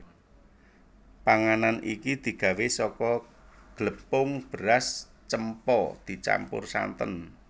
Panganan iki digawé saka glepung beras cempa dicampur santen